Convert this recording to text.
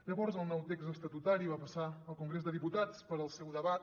llavors el nou text estatutari va passar al congrés de diputats per al seu debat